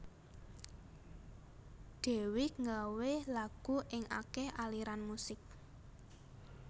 Dewiq nggawé lagu ing akéh aliran musik